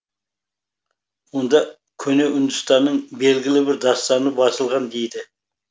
онда көне үндістанның белгілі бір дастаны басылған дейді